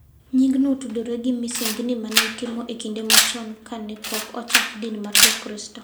Nying'no otudore gi misengini ma ne itimo e kinde machon ka ne pok ochak din mar Jokristo,